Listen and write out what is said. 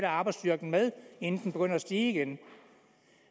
arbejdsstyrken med inden den begynder at stige igen